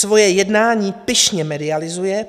Svoje jednání pyšně medializuje.